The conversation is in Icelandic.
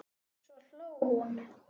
Svo hló hún.